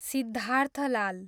Siddharth Lal